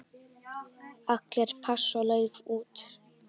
Allir pass og lauf út.